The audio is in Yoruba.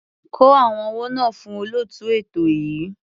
Kó owó náà fún olóòtú ètò yìí.